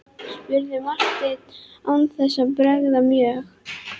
spurði Marteinn án þess að bregða mjög.